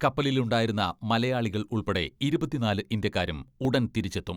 കപ്പലിലുണ്ടായിരുന്ന മലയാളികൾ ഉൾപ്പെടെ ഇരുപത്തിനാല് ഇന്ത്യക്കാരും ഉടൻ തിരിച്ചെത്തും.